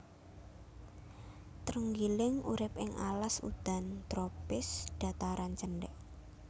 Trenggiling urip ing alas udan tropis dhataran cendhèk